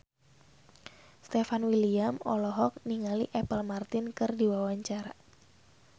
Stefan William olohok ningali Apple Martin keur diwawancara